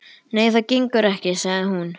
Nei, það gengur ekki, sagði hún.